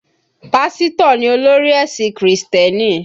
Pásítọ̀ ni olórí ẹ̀sìn Krìstẹ́nì